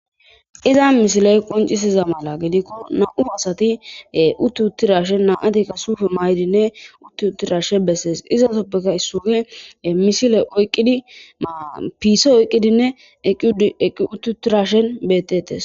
Iza misiley qoncisiza mala gedikko na'u asati utti uttirashen naatika suufe maydinne utti uttirashe bessees izaasoppeka issuufe misile oyqqidi mapiise oyqqidinne eqqiuttu uttirashen bettettes.